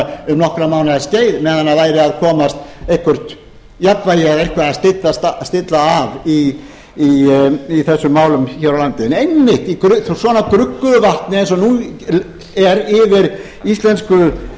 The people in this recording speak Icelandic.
um nokkurra mánaða skeið meðan væri að komast eitthvert jafnvægi eða eitthvað að stillist af í þessum málum hér á landi einmitt í svona gruggugu vatni eins og nú er yfir íslensku